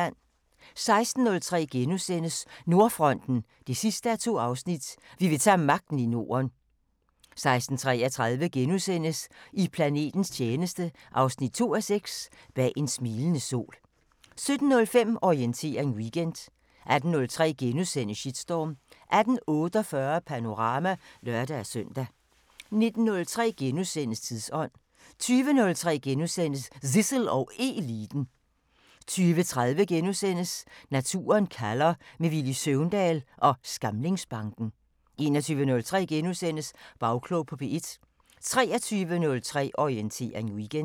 16:03: Nordfronten 2:2 – Vi vil tage magten i Norden * 16:33: I planetens tjeneste 2:6 – Bag en smilende sol * 17:05: Orientering Weekend 18:03: Shitstorm * 18:48: Panorama (lør-søn) 19:03: Tidsånd * 20:03: Zissel og Eliten * 20:30: Naturen kalder – med Villy Søvndal ved Skamlingsbanken * 21:03: Bagklog på P1 * 23:03: Orientering Weekend